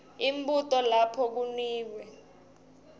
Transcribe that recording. imibuto lapho kunikwe